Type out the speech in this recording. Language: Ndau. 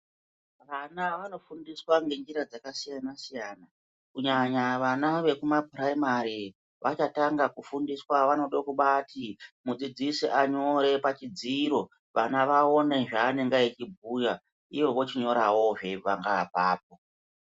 Vana vanofundiswa ngenjira dzakasiyana siyana kunyanya vana vekumaoiraimari vachatanga kufundiswa vachabati mudzidzisi anyore chudziro vana vaone zvavangaita vechibhuya uye vechinyorawo zveitanga ipapo.